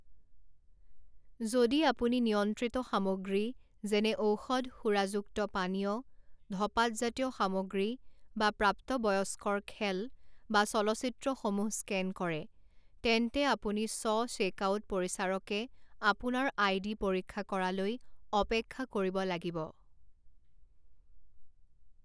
যদি আপুনি নিয়ন্ত্ৰিত সামগ্ৰী যেনে ঔষধ সুৰাযুক্ত পানীয় ধঁপাতজাতীয় সামগ্ৰী বা প্ৰাপ্তবয়স্কৰ খেল বা চলচ্চিত্ৰসমূহ স্কেন কৰে তেন্তে আপুনি স্ব চেকআউট পৰিচাৰকে আপোনাৰ আইডি পৰীক্ষা কৰালৈ অপেক্ষা কৰিব লাগিব।